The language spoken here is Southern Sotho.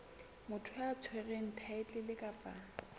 motho ya tshwereng thaetlele kapa